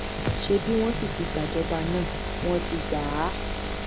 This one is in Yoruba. ṣebí wọn sì ti gbàjọba náà wọn ti gbà á